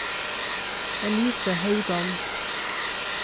Elise Haugan